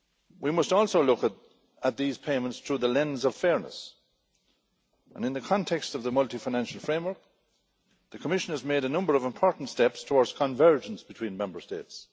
We must also look at these payments through the lens of fairness and, in the context of the Multiannual Financial Framework, the Commission has made a number of important steps towards convergence between Member States.